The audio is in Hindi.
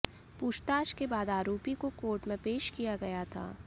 पूछताछ के बाद आरोपी को कोर्ट में पेश किया गया था